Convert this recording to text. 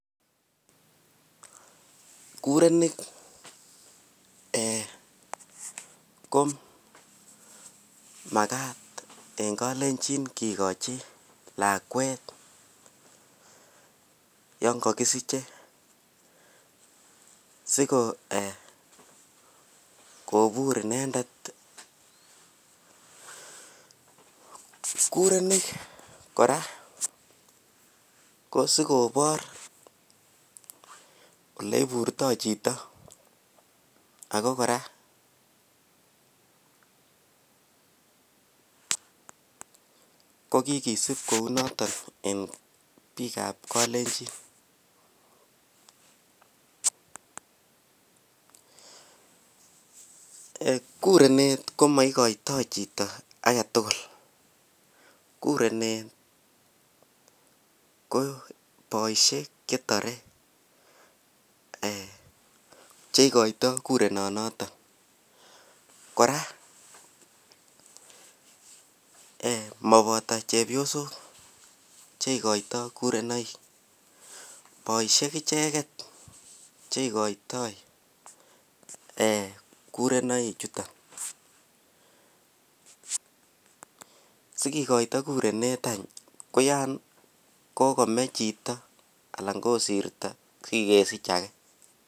Kurenik komakat en nkalenjin kikochi lakwet yangagisiche sikobit inendet kurenik koraa sikobar oleiburto Chito ako koraa kokikisub Kou noton en bik ab kalenjin kurenet komaikata Chito agetugul kurenet ko baishek chetare cheikata kurenet noton kora komabata chepyosok cheikata kurenoik baishek icheket cheikotoi kerenoik chuton sikekoito kurenet any koyan kokome Chito anan kosirto sikosich age